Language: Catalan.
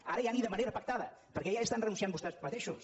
ara ja ni de manera pactada perquè ja hi estan renunciant vostès mateixos